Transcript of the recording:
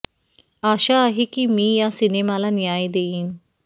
आशा आहे की मी या सिनेमाला न्याय देईन